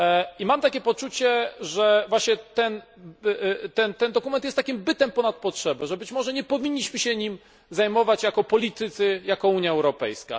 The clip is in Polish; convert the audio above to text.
I mam poczucie, że właśnie ten dokument jest takim bytem ponad potrzebę, że być może nie powinniśmy się nim zajmować jako politycy, jako Unia Europejska.